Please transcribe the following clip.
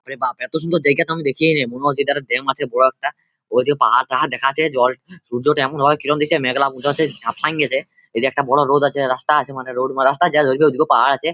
আরে বাপ এত সুন্দর জায়গা তো আমি দেখিয়ে নাই মনে হচ্ছে | এধার ব্যাম আছে বড় একটা ওইদিকে একটা পাহাড় দেখাচ্ছে জল সূর্যতে এমন ভাবে কিরণ দিচ্ছে মেঘলা বোঝাচ্ছে ঝাপস সাইন দিয়েছে | ওই যে একটা বড় রোড আছে রাস্তা আছে মানে রাস্তার ওই দিকে পাহাড় আছে |